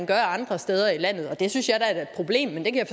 gør andre steder i landet det synes jeg da er et problem men det kan